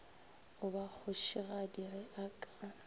ba kgošigadi ge a ka